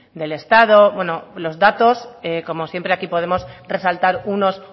del estado bueno los datos como siempre aquí podemos resaltar unos